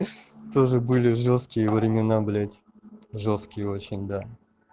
тоже были жёсткие времена блять жёсткие очень да